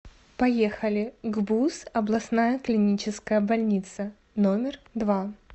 поехали гбуз областная клиническая больница номер два